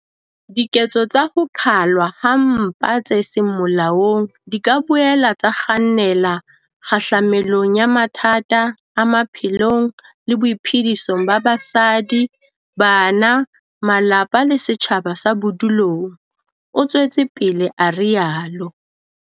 "Diketso tsa ho qhalwa ha mpa tse seng molaong di ka boela tsa kgannela kgahlamelong ya mathata a maphelong le boiphedisong ba basadi, bana, malapa le setjhaba sa bodulong," o tswetse pele a rialo.